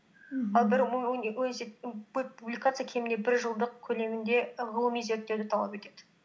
ал бір публикация кемінде бір жылдық көлемінде ғылыми зерттеуді талап етеді